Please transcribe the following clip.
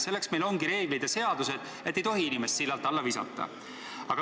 " Selleks meil ongi reeglid ja seadused, et inimest sillalt alla ei visataks.